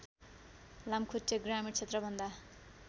लामखुट्टे ग्रामीण क्षेत्रभन्दा